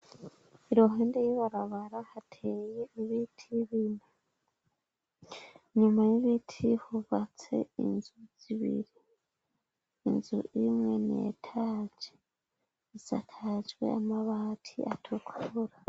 Irohende yibarabara hateye ibiti y'ibintu nyuma y'ibiti hubatse inzu zibiri inzu imwe neetaje iziakajwe amabati atukura.